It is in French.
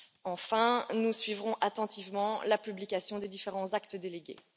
Enfin, nous suivrons attentivement la publication des différents actes délégués.